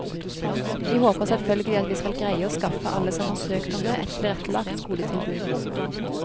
Vi håper selvfølgelig at vi skal greie å skaffe alle som har søkt om det, et tilrettelagt skoletilbud.